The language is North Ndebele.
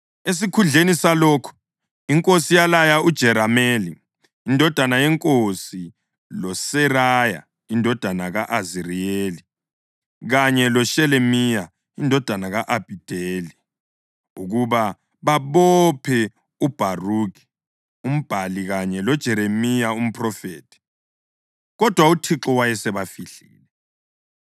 Esikhundleni salokho inkosi yalaya uJerameli, indodana yenkosi, loSeraya indodana ka-Aziriyeli kanye loShelemiya indodana ka-Abhideli ukuba babophe uBharukhi umbhali kanye loJeremiya umphrofethi. Kodwa uThixo wayesebafihlile.